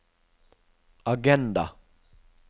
agenda